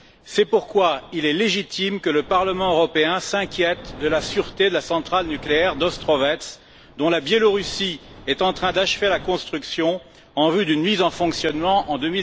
c'est pourquoi il est légitime que le Parlement européen s'inquiète de la sûreté de la centrale nucléaire d'Ostrovets, dont la Biélorussie est en train d'achever la construction en vue d'une mise en fonctionnement en